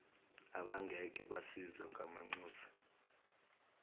abangeke basizwe ngamanxusa